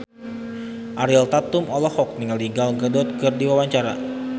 Ariel Tatum olohok ningali Gal Gadot keur diwawancara